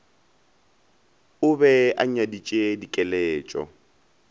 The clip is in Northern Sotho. o be a nyaditše dikeletšo